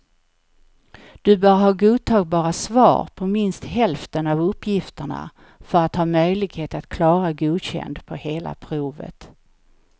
Du bör ha godtagbara svar på minst hälften av uppgifterna för att ha möjlighet att klara godkänd på hela provet.